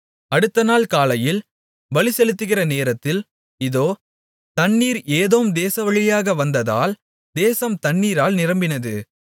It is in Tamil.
அடுத்தநாள் காலையில் பலிசெலுத்துகிற நேரத்தில் இதோ தண்ணீர் ஏதோம் தேசவழியாக வந்ததால் தேசம் தண்ணீரால் நிரம்பினது